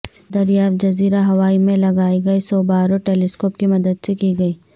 یہ دریافت جزیرہ ہوائی میں لگائی گئی سوبارو ٹیلیسکوپ کی مدد سے کی گئی